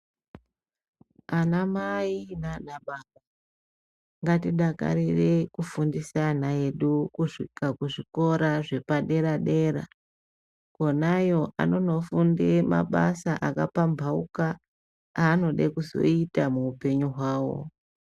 Ana mai nana baba ngatidakarire kufundisa ana edu kusvika kuzvikora zvepadera dera. Konayo anonofunde mabasa akapampauka anode kuzoita muhupenyu hwawo.